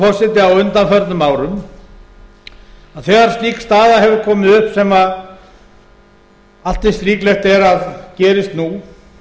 forseti á undanförnum árum að þegar slík staða hefur komið upp sem allt eins líklegt er að gerist nú